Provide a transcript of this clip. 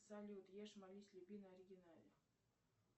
салют ешь молись люби на оригинале